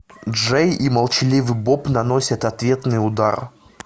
джей и молчаливый боб наносят ответный удар